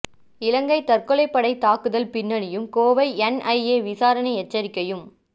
இலங்கை தற்கொலைப் படைத் தாக்குதல் பின்னணியும் கோவை என்ஐஏ விசாரணை எச்சரிக்கையும்